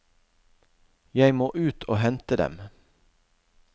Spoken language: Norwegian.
Jeg må ut og hente dem.